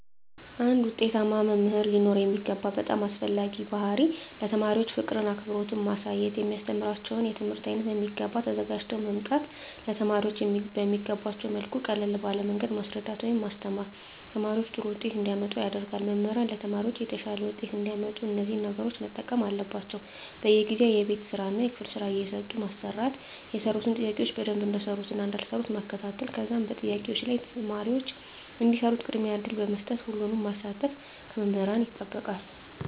አንድ ዉጤታማ መምህር ሊኖረዉ የሚገባ በጣም አስፈላጊዉ ባህሪይ ለተማሪዎች ፍቅርን አክብሮትን ማሳየት የሚያስተምራቸዉን የትምህርት አይነት በሚገባ ተዘጋጅተዉ በመምጣት ለተማሪዎች በሚገቧቸዉ መልኩ ቀለል ባለ መንገድ ማስረዳት ወይም ማስተማር ተማሪዎች ጥሩ ዉጤት እንዲያመጡ ያደርጋል መምህራን ለተማሪዎች የተሻለ ዉጤት እንዲያመጡ እነዚህን ነገሮች መጠቀም አለባቸዉ በየጊዜዉ የቤት ስራእና የክፍል ስራ እየሰጡ በማሰራት የሰሩትን ጥያቄዎች በደንብ እንደሰሩትእና እንዳልሰሩት መከታተል ከዛም በጥያቄዎች ላይ ተማሪዎች እንዲሰሩት ቅድሚያ እድል በመስጠት ሁሉንም ማሳተፍ ከመምህራን ይጠበቃል